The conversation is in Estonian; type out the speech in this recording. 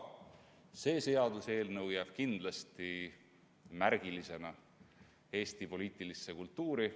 See seaduseelnõu jääb kindlasti märgilisena ka Eesti poliitilisse kultuuri.